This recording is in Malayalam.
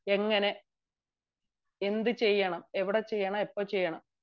ചെയ്യണം എന്ത് ചെയ്യണം എവിടെ ചെയ്യണം എപ്പോ ചെയ്യണം